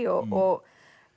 og